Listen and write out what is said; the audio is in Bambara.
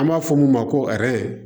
An b'a fɔ mun ma ko